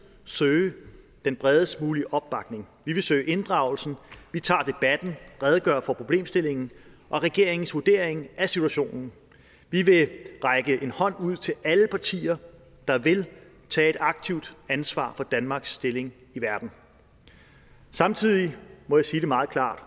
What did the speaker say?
søge den bredest mulige opbakning vi vil søge inddragelsen vi tager debatten vi redegør for problemstillingen og regeringens vurdering af situationen vi vil række en hånd ud til alle partier der vil tage et aktivt ansvar for danmarks stilling i verden samtidig må jeg sige meget klart